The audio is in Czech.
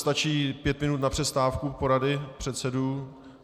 Stačí pět minut na přestávku porady předsedů?